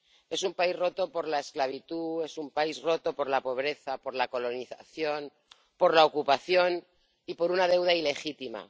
Es un país roto por la esclavitud, es un país roto por la pobreza, por la colonización, por la ocupación y por una deuda ilegítima.